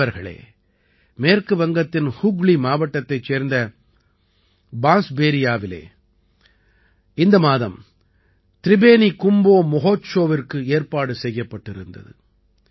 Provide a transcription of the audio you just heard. நண்பர்களே மேற்கு வங்கத்தின் ஹூக்ளி மாவட்டத்தைச் சேர்ந்த பான்ஸ்பேரியாவிலே இந்த மாதம் த்ரிபேனி கும்போ மொஹொத்ஷோவிற்கு ஏற்பாடு செய்யப்பட்டிருந்தது